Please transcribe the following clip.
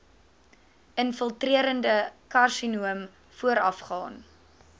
infiltrerende karsinoom voorafgaan